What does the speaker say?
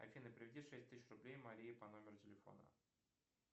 афина переведи шесть тысяч рублей марии по номеру телефона